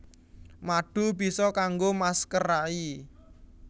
Madu bisa kanggo masker rai